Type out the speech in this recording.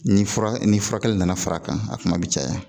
Ni fura ni furakɛli nana far'a kan a kuma bi caya.